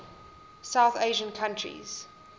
south asian countries